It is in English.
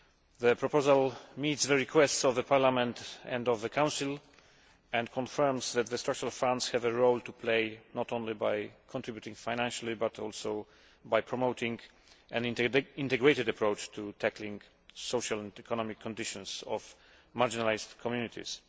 The proposal meets the request of Parliament and of the Council and confirms that the Structural Funds have a role to play, not only by contributing financially but also by promoting an integrated approach to tackling social and economic conditions of marginalised communities.